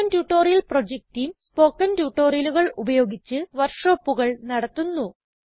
spoken tutorial project team spoken ട്യൂട്ടോറിയലുകൾ ഉപയോഗിച്ച് വർക്ക്ഷോപ്പുകൾ നടത്തുന്നു